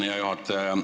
Hea juhataja!